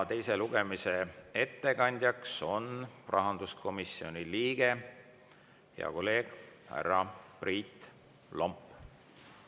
Teise lugemise ettekandja on rahanduskomisjoni liige, hea kolleeg härra Priit Lomp.